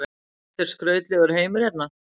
Þetta er skrautlegur heimur hérna.